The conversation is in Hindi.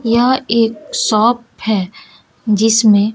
यह एक शॉप है जिसमें--